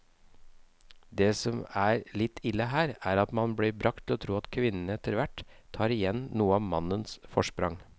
Det som er litt ille her, er at man blir bragt til å tro at kvinnene etterhvert tar igjen noe av mannens forsprang.